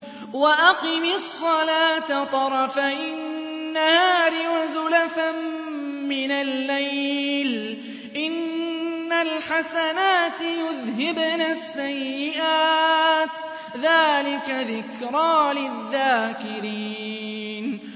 وَأَقِمِ الصَّلَاةَ طَرَفَيِ النَّهَارِ وَزُلَفًا مِّنَ اللَّيْلِ ۚ إِنَّ الْحَسَنَاتِ يُذْهِبْنَ السَّيِّئَاتِ ۚ ذَٰلِكَ ذِكْرَىٰ لِلذَّاكِرِينَ